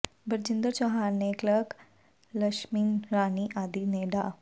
ਬਰਜਿੰਦਰ ਚੌਹਾਨ ਤੇ ਕਲਰਕ ਲਕਸ਼ਮੀ ਰਾਣੀ ਆਦਿ ਨੇ ਡਾ